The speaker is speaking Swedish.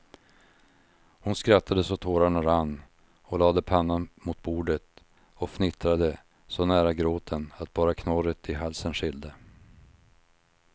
Hon skrattade så tårarna rann och lade pannan mot bordet och fnittrade så nära gråten att bara knorret i halsen skilde.